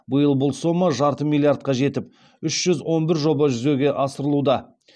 биыл бұл сома жарты миллиардқа жетіп үш жүз он бір жоба жүзеге асырылуда